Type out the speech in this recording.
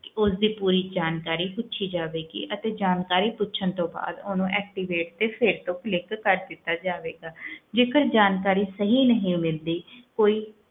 ਕਿ ਉਸਦੀ ਪੂਰੀ ਜਾਣਕਾਰੀ ਪੁੱਛੀ ਜਾਵੇਗੀ ਅਤੇ ਜਾਣਕਾਰੀ ਪੁੱਛਣ ਤੋਂ ਬਾਅਦ ਉਹਨੂੰ activate ਤੇ ਫਿਰ ਤੋਂ click ਕਰ ਦਿੱਤਾ ਜਾਵੇਗਾ ਜੇਕਰ ਜਾਣਕਾਰੀ ਸਹੀ ਨਹੀਂ ਮਿਲਦੀ ਕੋਈ